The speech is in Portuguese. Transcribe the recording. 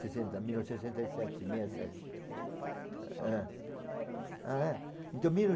sessenta, mil novecentos e sessenta e sete meia sete. Quantos anos eu tinha? É. Zero. Ah é? Então mil